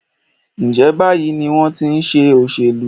ǹjẹ́ báyìí ni wọ́n ti í ṣe òṣèlú?